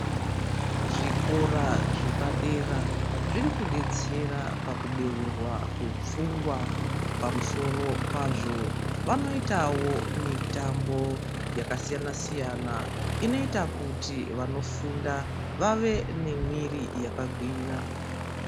Zvikora zvepadera zvirikudetsera pakubeurwa kwepfungwa. Pamusoro pazvo vanoitawo mitambo yakasiyana-siyana inoita kuti vanofunda vave nemwiri yakagwinya.